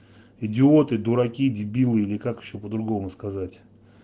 идиоты дураки дебилы или как ещё по-другому сказать